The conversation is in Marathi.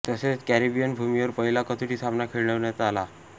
तसेच कॅरेबियन भूमीवर पहिला कसोटी सामना खेळवण्यात आला